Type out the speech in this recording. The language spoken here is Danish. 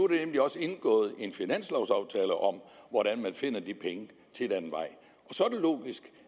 der nemlig også indgået en finanslovaftale om hvordan man finder de penge til den vej så er det logisk